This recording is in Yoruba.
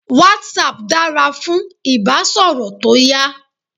WhatsApp dára fún ìbásọ̀rọ̀ tó yá.